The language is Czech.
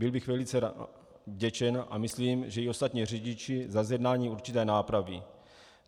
Byl bych velice vděčen, a myslím, že i ostatní řidiči, za zjednání určité nápravy.